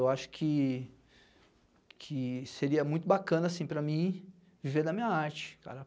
Eu acho que que seria muito bacana para mim viver da minha arte, cara.